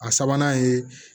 A sabanan ye